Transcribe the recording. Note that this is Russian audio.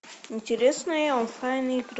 интересные онлайн игры